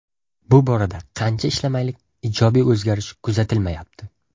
Bu borada qancha ishlamaylik ijobiy o‘zgarish kuzatilmayapti.